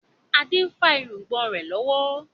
Adé ń fa irùngbọ̀n rẹ lọ́wọ́.